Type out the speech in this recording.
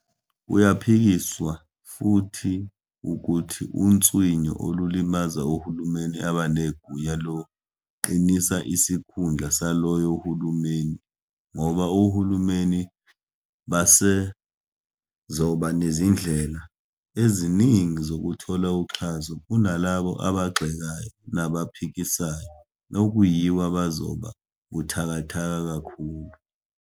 Kuyaphikiswa futhi ukuthi unswinyo olulimaza ohulumeni abanegunya luqinisa isikhundla saloyo hulumeni ngoba ohulumeni basezoba nezindlela eziningi zokuthola uxhaso kunalabo abagxekayo nabaphikisayo, okuyibo abazoba buthakathaka kakhulu.